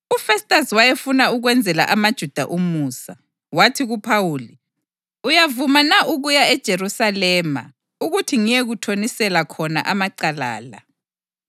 UFestasi wayefuna ukwenzela amaJuda umusa, wathi kuPhawuli, “Uyavuma na ukuya eJerusalema ukuthi ngiyekuthonisela khona amacala la?”